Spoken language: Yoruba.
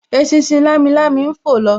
Eṣinṣin lamilami ń fò lọ